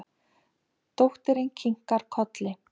Dóttirin kinkar kolli.